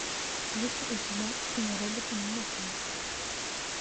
есть ли у тебя киноработа нокаут